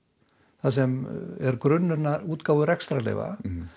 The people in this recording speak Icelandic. þar sem er grunnurinn af útgáfu rekstrarleyfa